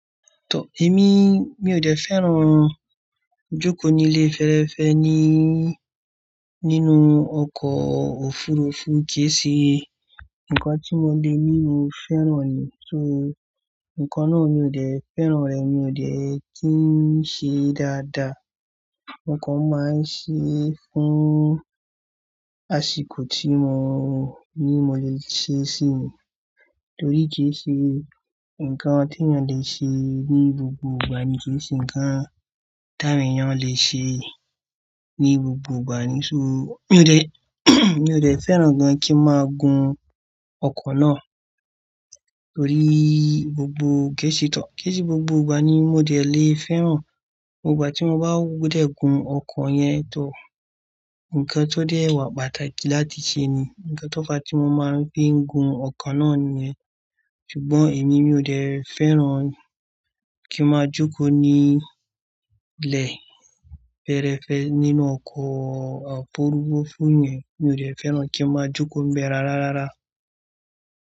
Tọ, èmi mi ò dẹ́ fẹ́ràn jókòó ní ilé fẹ́rẹ́fẹ́ ní, nínú ọkọ̀ òfurufú kí è ṣe nǹkan tí mo le ní mo fẹ́ràn ni. So nǹkan náà mi ò dẹ́ fẹ́ràn rẹ̀, mi ò dẹ́ kí n ṣe dáadáa. No transcript Torí kí è ṣe, ǹkan tí ènìyàn le ṣe ní gbogbo ìgbà ni kí è ṣe, ǹkan tí àwọn ènìyàn le ṣe ní gbogbo ìgbà ni. So mi ò dẹ́, mi ò dẹ́ fẹ́ràn gan kí máa gun ọkọ̀ náà torí gbogbo ké ṣe tán. Ké ṣe gbogbo ìgbà ni mo dẹ́ le fẹ́ràn. Ìgbà tí mo bá wudẹ̀ gun ọkọ̀ yẹn tò, ǹkan tó dẹ́ wà pàtàkì láti ṣe ni, ǹkan tó fa tí mo máa ń fi ń gun ọkọ̀ náà nìyẹn. Ṣùgbọ́n èmi mi ò dẹ́ fẹ́ràn kí ma jókòó ní ilé fẹ́rẹ́fẹ́ nínú ọkọ̀ òfurufú yẹn, mi ò dẹ́ fẹ́ràn kí ma jókòó bẹ rárá, rárá.